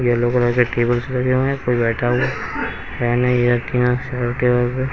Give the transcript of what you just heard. Yellow colour के tables लगे हुए हैं कोई बैठा हुआ फैन है है।